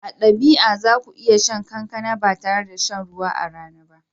A dabi'a za ku iya shan kankana ba tare da shan ruwa a rana ba.